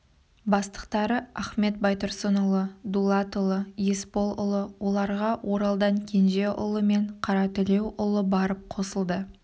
бастықтары ахмет байтұрсынұлы дулатұлы есполұлы оларға оралдан кенжеұлы мен қаратілеуұлы барып қосылды